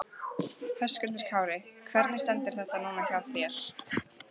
Höskuldur Kári: Hvernig stendur þetta núna hjá þér?